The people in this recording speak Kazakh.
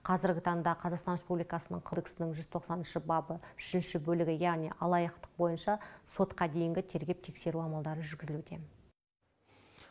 қазіргі таңда қазақстан республикасының кдексінің жүз тоқсаныншы бабы үшінші бөлігі яғни алаяқтық бойынша сотқа дейінгі тергеп тексеру амалдары жүргізілуде